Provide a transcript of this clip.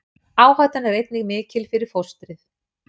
Áhættan er einnig mikil fyrir fóstrið.